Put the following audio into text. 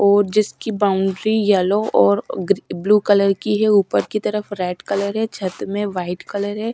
और जिसकी boundary yellow और ग्री ब्लू कलर की है ऊपर की तरफ रेड कलर है छत में वाइट कलर है।